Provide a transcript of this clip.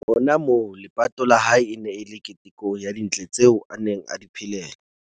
Hona moo, lepato la hae e ne e le keteko ya dintle tseo a neng a di phelela.